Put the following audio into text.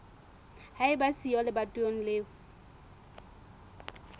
ba eba siyo lebatoweng leo